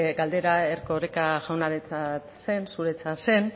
galdera erkoreka jaunarentzat zen zuretzat zen